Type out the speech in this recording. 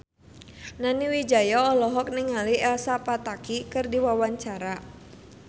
Nani Wijaya olohok ningali Elsa Pataky keur diwawancara